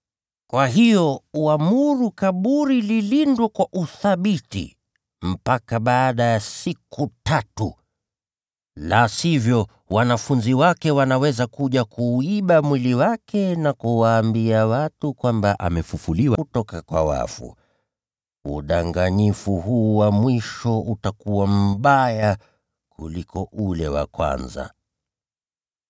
Kwa hiyo uamuru kaburi lilindwe kwa uthabiti mpaka baada ya siku tatu. La sivyo, wanafunzi wake wanaweza kuja kuuiba mwili wake na kuwaambia watu kwamba amefufuliwa kutoka kwa wafu. Udanganyifu huu wa mwisho utakuwa mbaya kuliko ule wa kwanza.”